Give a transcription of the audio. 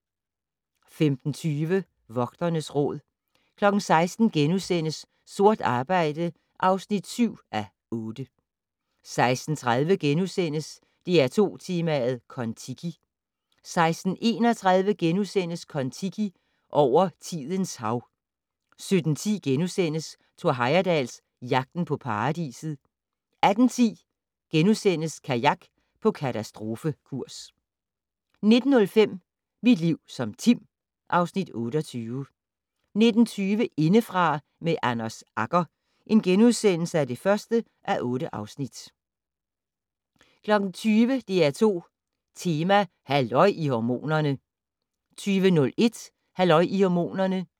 15:20: Vogternes Råd 16:00: Sort arbejde (7:8)* 16:30: DR2 Tema: Kon-Tiki * 16:31: Kon-Tiki - over tidens hav * 17:10: Thor Heyerdahl - Jagten på paradiset * 18:10: Kajak på katastrofekurs * 19:05: Mit liv som Tim (Afs. 28) 19:20: Indefra med Anders Agger (1:8)* 20:00: DR2 Tema: Halløj i hormonerne 20:01: Halløj i hormonerne